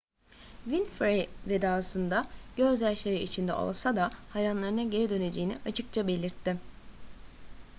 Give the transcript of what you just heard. winfrey vedasında gözyaşları içinde olsa da hayranlarına geri döneceğini açıkça belirtti